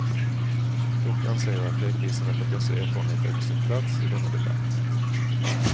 Dock anser jag att redovisandet av dessa erfarenheter är på sin plats i denna debatt.